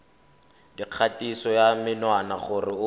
dikgatiso ya menwana gore o